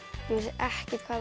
ekkert hvað